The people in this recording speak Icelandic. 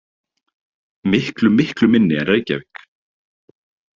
Miklu miklu minni en Reykjavík.